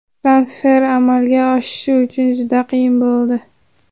Transfer amalga oshishi juda qiyin bo‘ldi.